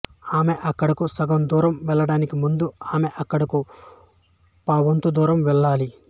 ఆమె అక్కడకు సగం దూరం వెళ్ళడానికి ముందు ఆమె అక్కడకు పావువంతు దూరం వెళ్ళాలి